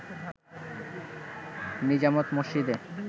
নিজামত মসজিদে